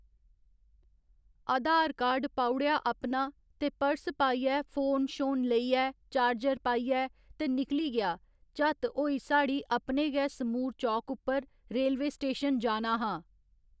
आधार card पाउड़ेआ अपना ते पर्स पाइयै फोन शोन लेइयै चार्जर पाइयै ते निकली गेआ झत्त होई साढ़ी अपने गै समूर चौक उप्पर रेलवे स्टेशन जाना हा